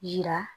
Yira